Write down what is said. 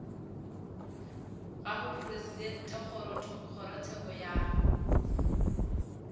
ga mopresidente wa kgorotsheko ya